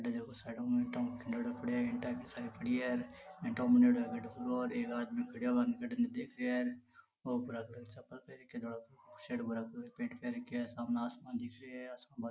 एक आदमी खड़ा है व इन्हे देख रहे है और धोळा कलर की चप्पल पेहेन के धोळा कलर शर्ट पेहेन के धोळा कलर की पैंट पहन के सामने आसमान देख रेया है आसमान में --